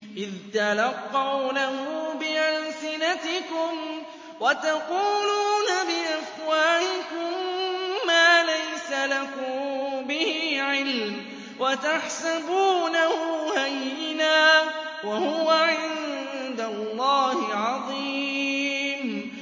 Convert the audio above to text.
إِذْ تَلَقَّوْنَهُ بِأَلْسِنَتِكُمْ وَتَقُولُونَ بِأَفْوَاهِكُم مَّا لَيْسَ لَكُم بِهِ عِلْمٌ وَتَحْسَبُونَهُ هَيِّنًا وَهُوَ عِندَ اللَّهِ عَظِيمٌ